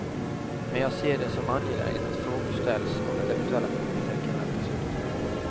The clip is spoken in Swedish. Men jag ser det som angeläget att frågor ställs och att eventuella frågetecken rätas ut.